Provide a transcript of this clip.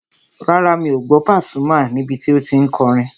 Rárá, mi ò gbọ́ Àlàbí Pasuma níbi tí o tí n kọrin